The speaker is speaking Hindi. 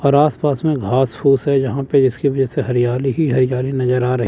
और आसपास में घास फूस है जहां पे इसके वजह से हरियाली ही हरियाली नजर आ रहे--